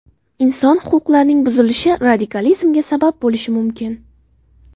Inson huquqlarining buzilishi radikalizmga sabab bo‘lishi mumkin.